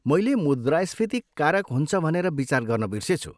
मैले मुद्रास्फीति कारक हुन्छ भनेर विचार गर्न बिर्सेछु।